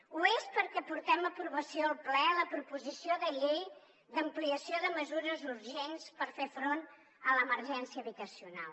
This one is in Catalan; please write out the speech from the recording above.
ho és perquè portem a aprovació al ple la proposició de llei d’ampliació de mesures urgents per fer front a l’emergència habitacional